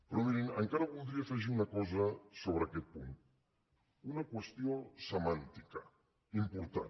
però mirin encara voldria afegir una cosa sobre aquest punt una qüestió semàntica important